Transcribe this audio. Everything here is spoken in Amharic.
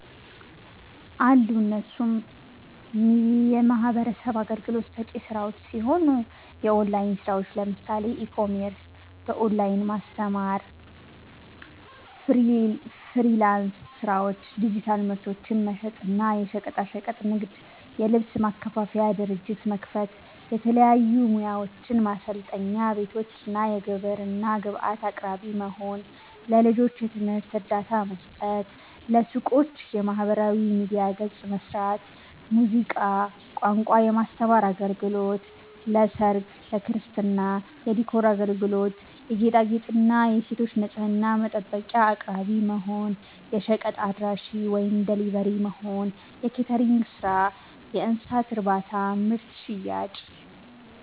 አሉ እነሱም የሚህበረሰብ አገልግሎት ሰጪ ስራዎች ሲሆኑ፦ የኦላይን ስራዎች ለምሳሌ፦ ኢ-ኮሜርስ፣ በኦላይን ማስተማር፣ ፍሊራንስ ስራዎች፣ ዲጂታል ምርቶችን መሸጥ እና፣ የሸቀጣሸቀጥ ንግድ, የልብስ ማከፋፈያ ድርጅት መክፈት፣ የተለያዩ ሙያዎችን ማሰልጠኛ ቤቶች፣ የግብርና ግብአት አቅራቢ መሆን፣ ለልጆች የትምህርት እርዳታ መስጠት፣ ለሱቆች የማህበራዊ ሚዲያ ገፅ መስራት፣ ሙዚቃ፣ ቋንቋ የማስተማር አገልግሎት ለሰርግ፣ ለክርስትና የዲኮር አገልግሎት የጌጣጌጥ, የሴቶች ንፅህና መጠበቂያ አቅራቢ መሆን፣ የሸቀጥ አድራሺ(ደሊቨሪ)መሆን፣ የኬተሪንግ ስራ፣ የእንስሳት እርባታና ምርት ሽያጭ